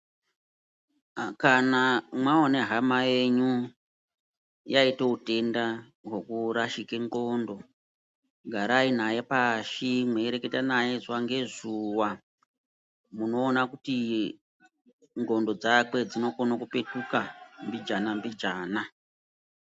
Kana mwaone hama yenyu yaite utenda hwekurashike ndxondo. Garai nayo pashi mweireketa naye zuwa ngezuwa, munoona kuti ndxondo dzake dzinokone kupetuka mbijana mbijana.